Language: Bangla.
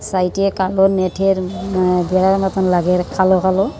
সাইডে কালো নেটের আঃ বড়ো মতন লাগে কালো কালো।